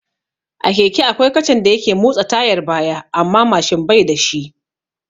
A keke akwai kacan da yake motsa tayar baya amma Mashin bai da shi